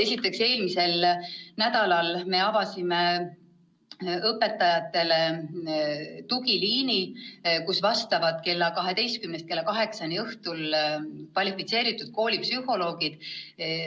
" Esiteks, eelmisel nädalal me avasime õpetajatele tugiliini, kus vastavad kella 12-st kuni kella 8-ni õhtul kvalifitseeritud koolipsühholoogid.